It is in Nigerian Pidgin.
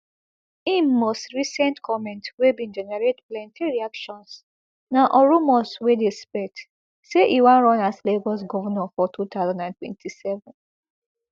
im most recent comment wey bin generate plenty reactions na on rumours wey dey spread say e wan run as lagos govnor for two thousand and twenty-seven